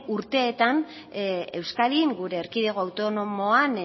urteetan euskadin gure erkidego autonomoan